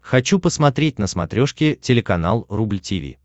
хочу посмотреть на смотрешке телеканал рубль ти ви